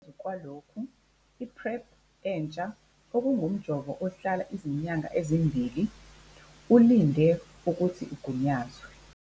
Ngaphezu kwalokhu, i-PrEP entsha - okungumjovo ohlala izinyanga ezimbili - ulinde ukuthi ugunyazwe.